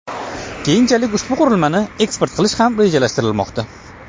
Keyinchalik ushbu qurilmani eksport qilish ham rejalashtirilmoqda.